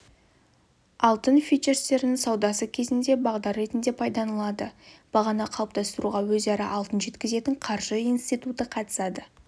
алтын фьючерстерінің саудасы кезінде бағдар ретінде пайдаланылады бағаны қалыптастыруға өзара алтын жеткізетін қаржы институты қатысады